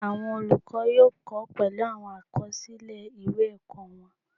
Awọn olukọ yóò kọ pẹlu awọn akọsilẹ ìwé ẹkọ wọn